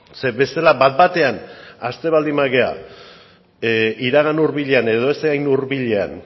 zeren bestela bat batean hasten baldin bagara iragan hurbilean edo ez hain hurbilean